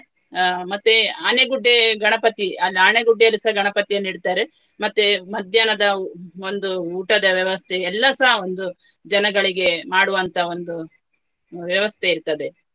ಅಹ್ ಮತ್ತೆ ಆನೆಗುಡ್ಡೆ ಗಣಪತಿ ಅಲ್ಲಿ ಆನೆಗುಡ್ಡೆಯಲ್ಲಿಸ ಗಣಪತಿಯನ್ನು ಇಡ್ತಾರೆ. ಮತ್ತೆ ಮಧ್ಯಾಹ್ನದ ಒಂದು ಊಟದ ವ್ಯವಸ್ಥೆ ಎಲ್ಲಸ ಒಂದು ಜನಗಳಿಗೆ ಮಾಡುವಂತಹ ಒಂದು ವ್ಯವಸ್ಥೆ ಇರ್ತದೆ.